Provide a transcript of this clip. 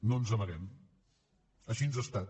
no ens n’amaguem així ha estat